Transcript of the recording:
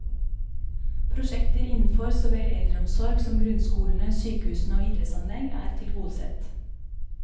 Prosjekter innenfor så vel eldreomsorg som grunnskolene, sykehusene og idrettsanlegg er tilgodesett.